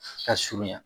Ka surunya